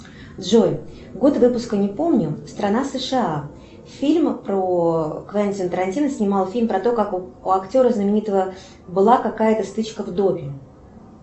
джой год выпуска не помню страна сша фильм про квентин тарантино снимал фильм про то как у актера знаменитого была какая то стычка в доме